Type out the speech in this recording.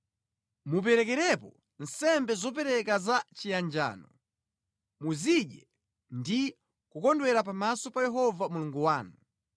Muperekerepo nsembe zopereka za chiyanjano, muzidye ndi kukondwera pamaso pa Yehova Mulungu wanu.